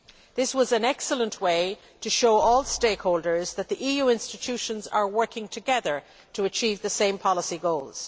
This was an excellent way to show all stakeholders that the EU institutions are working together to achieve the same policy goals.